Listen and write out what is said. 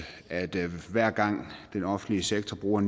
at hver gang den offentlige sektor bruger